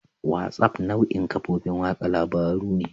WhatsApp nau'in kafofin watsa labarun ne.